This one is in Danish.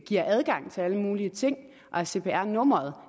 giver adgang til alle mulige ting og at cpr nummeret